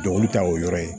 Dɔnkili ta o yɔrɔ ye